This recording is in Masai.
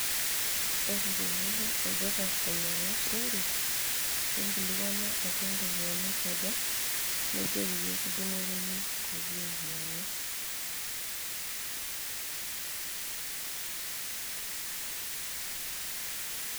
ore tenilo olduka ainyiang'u shimpi, ninkilikuanu keropiyiani aja, nijoki pee kidung'okini inkuti ropiyiani.